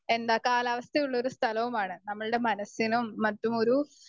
Speaker 1 എന്താ കാലാവസ്ഥ ഉള്ളൊരു സ്ഥലവുമാണ്. നമ്മളുടെ മനസ്സിനും മറ്റുമൊരു